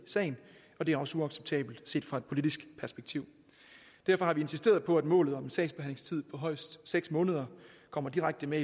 sagen og det er også uacceptabelt set fra et politisk perspektiv derfor har vi insisteret på at målet om en sagsbehandlingstid på højst seks måneder kommer direkte med